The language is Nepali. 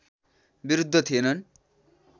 विरुद्ध थिएनन्